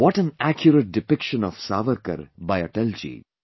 What an accurate depiction of Savarkar by Atal ji